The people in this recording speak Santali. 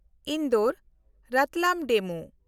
ᱤᱱᱫᱳᱨ–ᱨᱟᱛᱞᱟᱢ ᱰᱮᱢᱩ